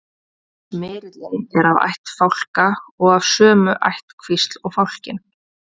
smyrillinn er af ætt fálka og af sömu ættkvísl og fálkinn